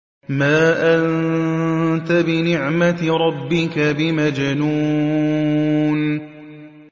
مَا أَنتَ بِنِعْمَةِ رَبِّكَ بِمَجْنُونٍ